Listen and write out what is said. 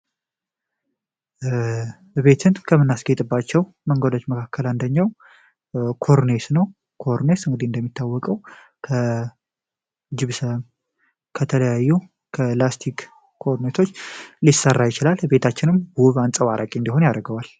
እቤትን ከምንናስጌጥባቸው መንገዶች መካከል አንደኛው ኮርኔስ ነው። ኮርኔስ እንደሚታወቀው ከ ጅብሰም ከተለያዩ ከላስቲክ ኮርነቶች ሊሰራ ይችላል። ቤታችንም ውብ አንፀባራቂ እንዲሆን ያደርገዋል።